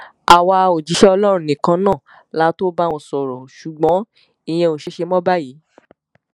àwa òjíṣẹ ọlọrun nìkan náà la tóó bá wọn sọrọ ṣùgbọn ìyẹn ò ṣeé ṣe mọ báyìí